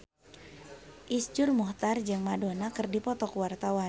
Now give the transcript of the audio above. Iszur Muchtar jeung Madonna keur dipoto ku wartawan